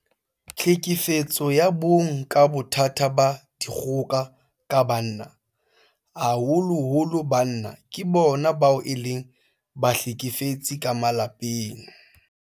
Tlhekefetso ya bong ke bothata ba dikgoka ka banna. Haholoholo banna ke bona bao e leng bahlekefetsi ka malapeng.